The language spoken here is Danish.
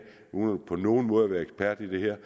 uden på nogen måde at være ekspert i det her